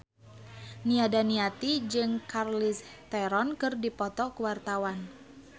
Nia Daniati jeung Charlize Theron keur dipoto ku wartawan